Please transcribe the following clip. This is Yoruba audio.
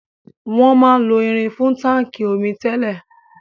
Wọn máa ń lo irin fún táńkì omi tẹ́lẹ̀.